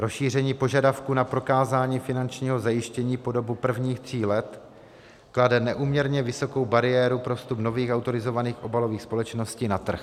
Rozšíření požadavku na prokázání finančního zajištění po dobu prvních tří let klade neúměrně vysokou bariéru pro vstup nových autorizovaných obalových společností na trh.